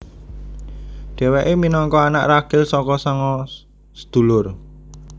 Dhewéke minangka anak ragil saka sanga sedulur